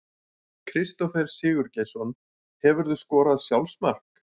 Kristófer Sigurgeirsson Hefurðu skorað sjálfsmark?